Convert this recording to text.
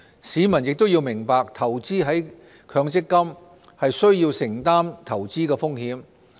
市民亦要明白投資在強積金，需要承擔投資風險。